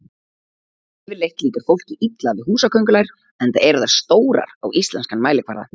Yfirleitt líkar fólki illa við húsaköngulær enda eru þær stórar á íslenskan mælikvarða.